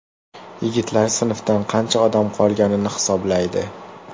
Yigitlar sinfdan qancha odam qolganini hisoblaydi.